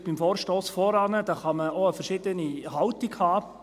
Zum vorherigen Vorstoss kann man vielleicht auch unterschiedliche Haltungen haben;